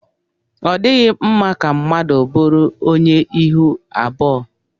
Ọ dịghị mma ka mmadụ bụrụ onye ihu abụọ.